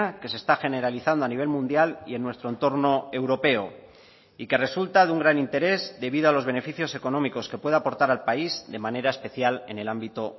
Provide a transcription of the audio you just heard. que se está generalizando a nivel mundial y en nuestro entorno europeo y que resulta de un gran interés debido a los beneficios económicos que pueda aportar al país de manera especial en el ámbito